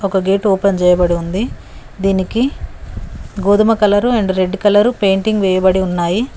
ఒక gate open చేయబడి ఉంది దీనికి గోధుమ colour and red colour painting వెయ్యబడి ఉన్నాయి.